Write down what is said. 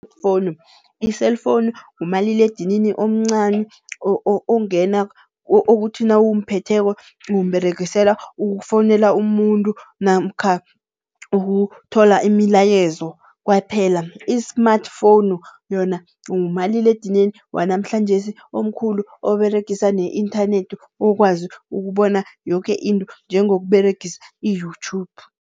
I-Phone, i-cellphone ngumaliledinini omncani, ongena okuthi nawumphetheko umberegisela ukufowunela umuntu namkha ukuthola imilayezo kwaphela. I-smartphone yona ngumaliledinini wanamhlanjesi omkhulu, oberegisa ne-inthanethi ukwazi ukubona yoke into njengokUberegisa i-YouTube.